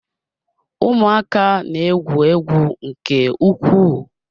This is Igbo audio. Ụmụaka na-egwu egwu nke ukwuu.